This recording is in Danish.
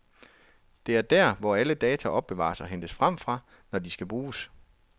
Det er der, hvor alle data opbevares og hentes frem fra, når de skal bruges.